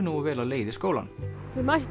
nógu vel á leið í skólann þau mættu